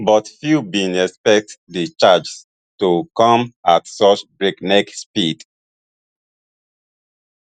but few bin expect di changes to come at such breakneck speed